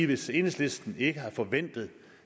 hvis enhedslisten ikke havde forventet